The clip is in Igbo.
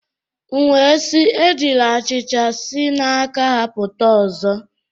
M'we si, ejila achicha si n'aka-ha puta ọzọ.